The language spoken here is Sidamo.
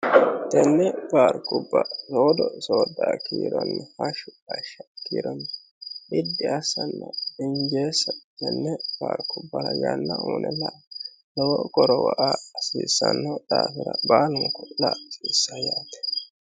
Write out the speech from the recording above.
tenne baarkubba soodo soodaa kiironni hashshu hashshao kiironni bidi assanno dinjeessa tenne baarkubbara yanna uyine la'a lowo qorowo aa hasiissanno daafira baalunku la'a hasiissano yaate.